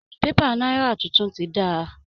Pépà Náírà tuntun tí dáa